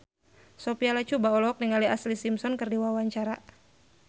Sophia Latjuba olohok ningali Ashlee Simpson keur diwawancara